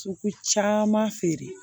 Sugu caman feere